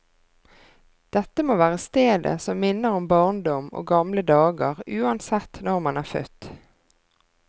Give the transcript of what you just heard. Dette må være stedet som minner om barndom og gamle dager uansett når man er født.